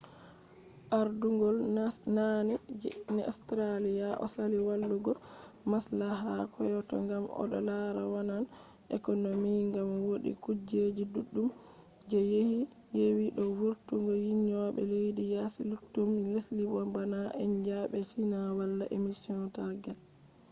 ardungol naane je austrialia osali wadugo maslaha kyoto ngam odo lara vonnan economy ngam wodi kujeji duddum je yewi do vurtungo nyjulbe lesdi yaasi luttudum lesdi bo bana india en be china wala emission targets